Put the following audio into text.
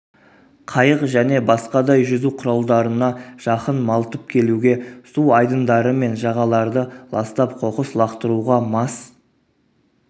қайық және басқадай жүзу құралдарына жақын малтып келуге су айдындары мен жағаларды ластап қоқыс лақтыруға мас